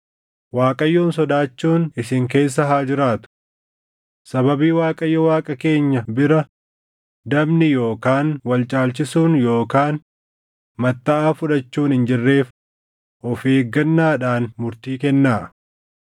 Waaqayyoon sodaachuun isin keessa haa jiraatu. Sababii Waaqayyo Waaqa keenya bira dabni yookaan wal caalchisuun yookaan mattaʼaa fudhachuun hin jirreef of eeggannaadhaan murtii kennaa.”